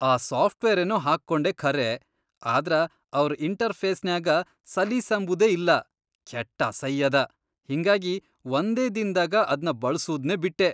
ಆ ಸಾಫ್ಟ್ವೇರೇನೋ ಹಾಕ್ಕೊಂಡೆ ಖರೆ ಆದ್ರ ಅವ್ರ್ ಇಂಟರ್ಫೇಸ್ನ್ಯಾಗ ಸಲೀಸಂಬದೇ ಇಲ್ಲಾ ಕೆಟ್ಟ ಅಸೈ ಅದ, ಹಿಂಗಾಗಿ ವಂದೇ ದಿನ್ದಾಗ ಅದ್ನ ಬಳ್ಸೂದ್ನೇ ಬಿಟ್ಟೆ.